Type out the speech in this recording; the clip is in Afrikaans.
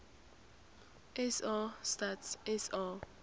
sa stats sa